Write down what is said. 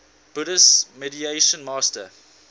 buddhist meditation master